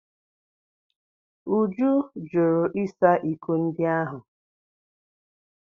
Uju jụrụ ịsa iko ndị ahụ.